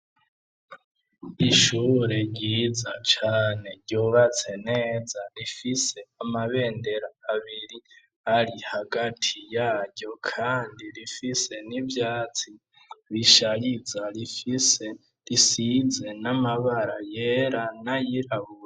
Ishure ryiza cane ryubatse neza rifise amabendera abiri ari hagati yaryo kandi rifise n'ivyatsi bishariza, rifise risize n'amabara yera n'ayirabura.